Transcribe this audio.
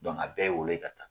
a bɛɛ ye wolo ka taa